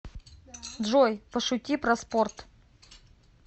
джой пошути про спорт